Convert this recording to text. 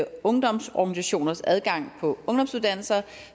ungdomsorganisationers adgang på ungdomsuddannelserne